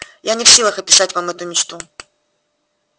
я не в силах описать вам эту мечту